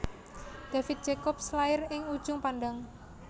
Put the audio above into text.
David Jacobs lair ing Ujung Pandang